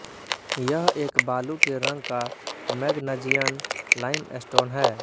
यह एक बालू के रंग का मैगनजियन लाइमस्टोन है